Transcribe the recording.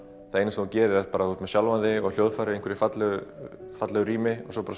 það eina sem þú gerir er að þú ert með sjálfan þig og hljóðfæri í einhverju fallegu fallegu rými svo bara